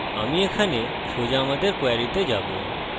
আমি এখানে সোজা আমাদের কোয়েরীতে যাবো